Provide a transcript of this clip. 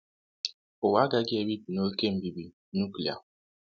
Ụwa agaghị ebibi n’oké mbibi nuklia.